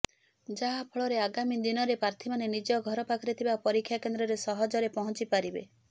ଯାହା ଫଳରେ ଆଗାମୀ ଦିନରେ ପ୍ରାର୍ଥୀମାନେ ନିଜ ଘର ପାଖରେ ଥିବା ପରୀକ୍ଷା କେନ୍ଦ୍ରରେ ସହଜରେ ପହଞ୍ଚିପାରିବେ